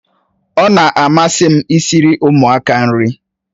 Ọ na-amasị m i siri ụmụaka nri